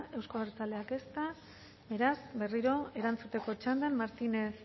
euzko abertzaleak ezta beraz berriro erantzuteko txandan martínez